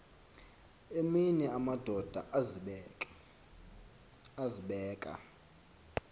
emini amadoda azibeka